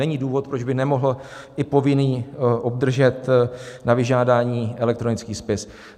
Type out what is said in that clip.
Není důvod, proč by nemohl i povinný obdržet na vyžádání elektronický spis.